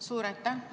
Suur aitäh!